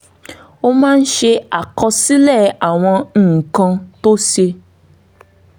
ó máa ń ṣàkọsílẹ̀ àwọn nǹkan tó ṣe